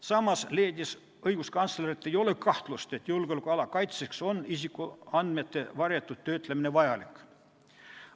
Samas leidis õiguskantsler, et ei ole kahtlust, et julgeolekuala kaitseks on isikuandmete varjatud töötlemine vajalik.